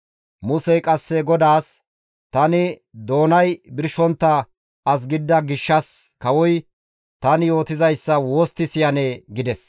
Musey qasse GODAAS, «Tani doonay birshontta as gidida gishshas kawoy tani yootizayssa wostti siyanee?» gides.